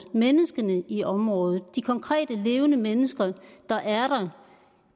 menneskene i området de konkrete levende mennesker der er der